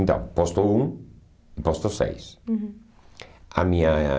Então, Posto um e Posto seis. Uhum. A minha